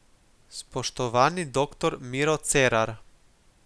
Spoštovani dr, Miro Cerar!